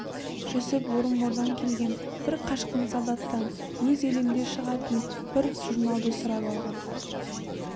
жүсіп орынбордан келген бір қашқын солдаттан өз елінде шығатын бір журналды сұрап алған